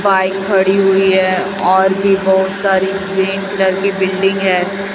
Bike खड़ी हुई है और भी बहुत सारी ग्रीन कलर की बिल्डिंग है।